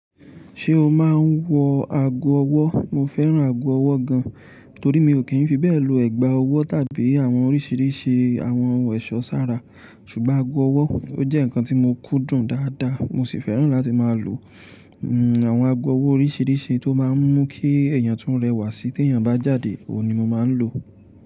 Ṣé o máa ń wọ ago ọwọ́? Mo fẹ́ràn ago ọwọ́ gan, torí mi ò kí ń fi bẹ́ẹ̀ lo ẹ̀gbà ọwọ́ tàbí àwọn oríṣìíríṣìí àwọn ẹ̀ṣọ́ sára. Ṣùgbọ́n ago ọwọ́ ó jẹ́ ǹnkan tí mo kúndùn dáadáa, mo sì fẹ́ràn láti máa lo àwọn ago ọwọ́ oríṣíríṣì tó máa ń mú kí èèyàn tún rẹwà sí tí èèyàn bá jáde ohun ni mo máa ń lò.